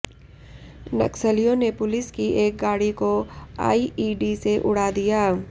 नक्सलियों ने पुलिस की एक गाड़ी को आईईडी से उड़ा दिया